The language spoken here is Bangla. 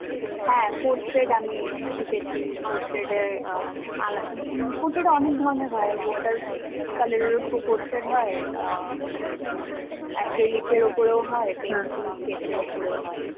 হ্যাঁ, portrait আমি শিখেছি. portrait এর আলা আমি portrait অনেক ধরনের হয়. water color এর উপরে portrait হয়. আ ম acrylic এর উপরের হয়, pencil sketch এর উপরেও হয়.